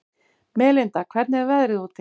Melinda, hvernig er veðrið úti?